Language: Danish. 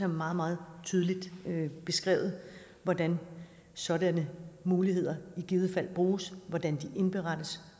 meget meget tydeligt beskrevet hvordan sådanne muligheder i givet fald bruges hvordan de indberettes